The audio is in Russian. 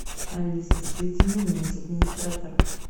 алиса соедини меня с администратором